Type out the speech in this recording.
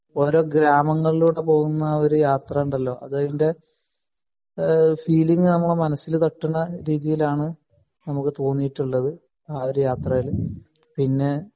ഓരോ ഗ്രാമങ്ങളിലൂടെ പോകുന്ന ഒരു യാത്ര ഉണ്ടല്ലോ അതിൻ്റെ ഏഹ് ഫീലിംഗ് നമ്മളെ മനസ്സിൽ തട്ടുന്ന രീതിയിൽ ആണ് നമുക്ക് തോന്നിയിട്ടുള്ളത് ആ ഒരു യാത്രയിൽ പിന്നെ